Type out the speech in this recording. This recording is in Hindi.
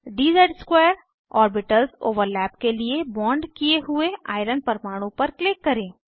dz2 ऑर्बिटल्स ओवरलैप के लिए बॉन्ड किये हुए आयरन परमाणु पर क्लिक करें